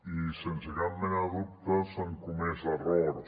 i sense cap mena de dubte s’han comès errors